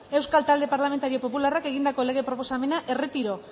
euskal talde parlamentario popularrak egindako lege proposamena erretiro